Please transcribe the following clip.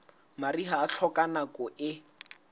mariha e hloka nako e